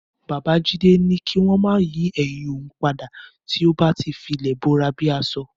Bàbá Jídé ní kí wọ́n máa yín ẹ̀yin òun padà tí ó bá ti filẹ̀ bora bí aṣo.